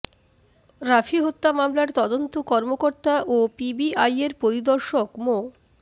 রাফি হত্যা মামলার তদন্ত কর্মকর্তা ও পিবিআইয়ের পরিদর্শক মো